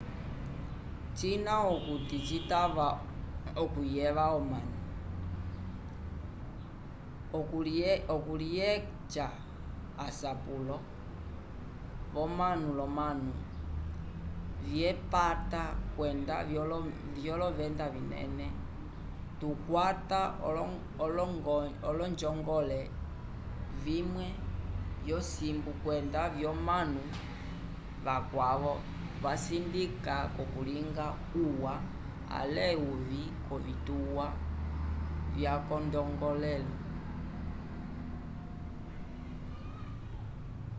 cina okuti citava okuyeva omanu okulyeca asapulo womunu l'omanu vyepata kwenda vyolovenda vinene tukwata onjongole imwe yosimbu kwenda lyomanu vakwavo vasindika k'okulinga uwa ale uvĩ k'ovituwa vyakongongelo